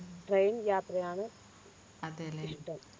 train യാത്രയാണ് അതല്ലേ ഇഷ്ടം